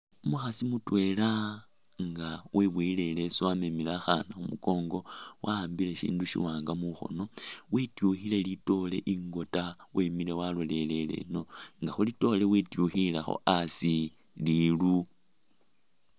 Umukhaasi mutwela nga weboyele i'leesu wamemile akhana khumukongo ,wa'ambile shindu shiwanga mukhono ,wityukhile litoore ingota ,wemile walolelele eno nga khulitoore wityukhilekho asi liru